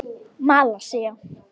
Malasía